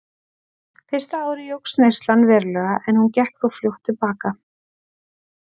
Fyrsta árið jókst neyslan verulega en hún gekk þó fljótt til baka.